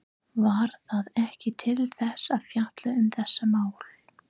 Var það ekki til þess að fjalla um þessi mál?